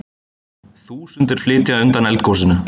Þúsundir flýja undan eldgosinu